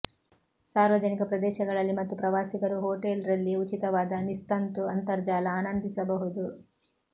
ಸಾರ್ವಜನಿಕ ಪ್ರದೇಶಗಳಲ್ಲಿ ಮತ್ತು ಪ್ರವಾಸಿಗರು ಹೋಟೆಲ್ ರಲ್ಲಿ ಉಚಿತವಾದ ನಿಸ್ತಂತು ಅಂತರ್ಜಾಲ ಆನಂದಿಸಬಹುದು